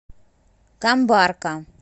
камбарка